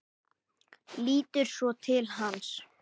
Lítur svo til hans.